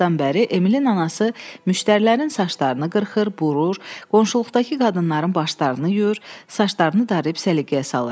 O vaxtdan bəri Emilin anası müştərilərin saçlarını qırxır, burur, qonşuluqdakı qadınların başlarını yuyur, saçlarını darayıb səliqəyə salır.